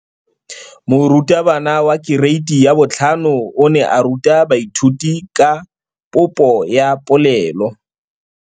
Moratabana wa kereiti ya 5 o ne a ruta baithuti ka popô ya polelô.